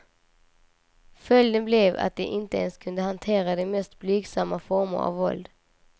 Följden blev att de inte ens kunde hantera de mest blygsamma former av våld.